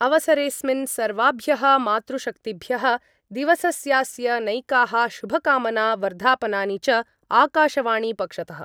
अवसरेस्मिन् सर्वाभ्यः मातृशक्तिभ्यः दिवसस्यास्य नैकाः शुभकामना वर्धापनानि च आकाशवाणीपक्षतः।